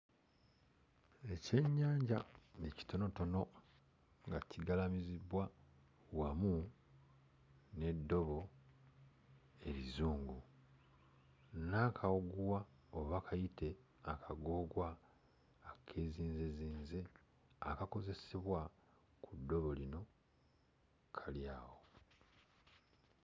Ekyennyanja ekitonotono nga kigalamizibbwa wamu n'eddobo ezzungu n'akaguwa oba kayite akagoogwa akeezinzezinze akakozesebwa ku ddobo lino kali awo